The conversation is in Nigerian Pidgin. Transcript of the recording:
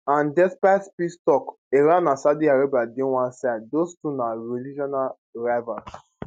and despite peace tok iran and saudi arabia dey one side those two na regional rivals